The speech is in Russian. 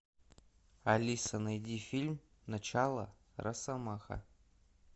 алиса найди фильм начало росомаха